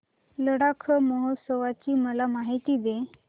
लडाख महोत्सवाची मला माहिती दे